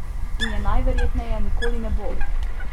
In je najverjetneje nikoli ne bo!